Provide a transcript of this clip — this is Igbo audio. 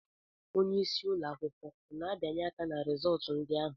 Onyeisi ụlọ akwụkwọ ọ na-abianye aka ná rizọtụ ndị ahụ?